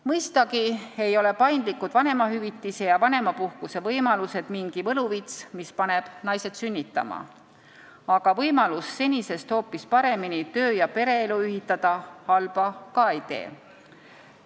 Mõistagi ei ole paindlikud vanemahüvitise ja vanemapuhkuse võimalused mingi võluvits, mis paneb naised sünnitama, aga võimalus senisest hoopis paremini töö- ja pereelu ühitada halba ka ei tee.